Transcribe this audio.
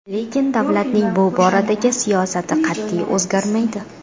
Lekin davlatning bu boradagi siyosati qat’iy, o‘zgarmaydi.